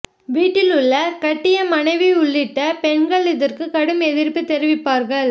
வீட்டில் உள்ள கட்டிய மனைவி உள்ளிட்ட பெண்கள் இதற்கு கடும் எதிர்ப்பு தெரிவிப்பார்கள்